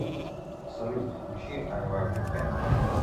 салют включи ай лав ю кэн